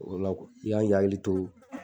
O la i kan k'i hakili to